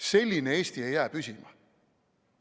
Selline Eesti ei jää püsima.